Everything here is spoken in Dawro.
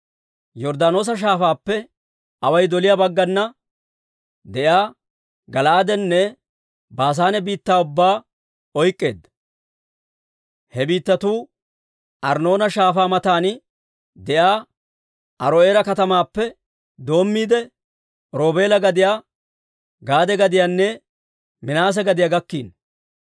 Yorddaanoosa Shaafaappe away doliyaa baggana de'iyaa Gala'aadenne Baasaane biittaa ubbaa oyk'k'eedda. He biittatuu Arnnoona Shaafaa matan de'iyaa Aaro'eera katamaappe doommiide, Roobeela gadiyaa, Gaade gadiyanne Minaase gadiyaa gakkiino.